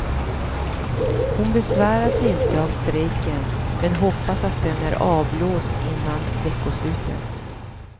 Hon besväras inte av strejken men hoppas att den är avblåst innan veckoslutet.